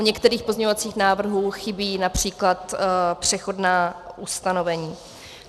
U některých pozměňovacích návrhů chybí například přechodná ustanovení.